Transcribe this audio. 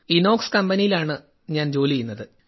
ഇനോക്സ് കമ്പനിയിലാണ് ജോലി ചെയ്യുന്നത്